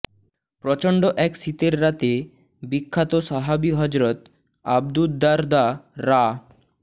প্রচণ্ড এক শীতের রাতে বিখ্যাত সাহাবি হজরত আবুদ্দারদা রা